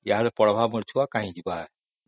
ଯେ ଆମ ଛୁଆ ପଢିବା ତା ଆଉ କାଇଁ ବାହାରକୁ ଯିବ